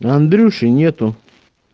андрюши нету